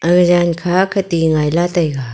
aga yan kha ka ti ngai la taega.